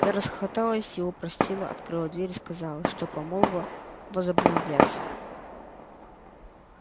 я расхохоталась его простила открыла дверь и сказала что помолвка возобновляется